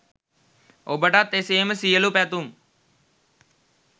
ඔබටත් එසේම සියලු පැතුම්